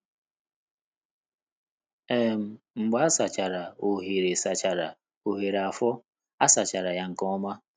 um Mgbe a sachara oghere sachara oghere afọ, a sachara ya nke ọma.